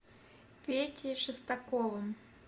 петей шестаковым